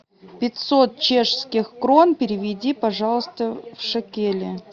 пятьсот чешских крон переведи пожалуйста в шекели